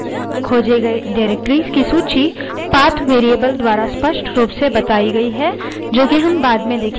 खोजे गए directories की सूची path variable द्वारा स्पष्ट रूप से बताई गयी है जो कि हम बाद में देखेंगे